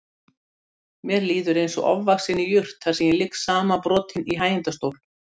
Mér líður eins og ofvaxinni jurt þar sem ég ligg samanbrotinn í hægindastól.